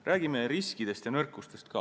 Räägime riskidest ja nõrkustest ka.